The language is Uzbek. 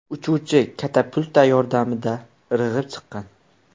Uchuvchi katapulta yordamida irg‘ib chiqqan.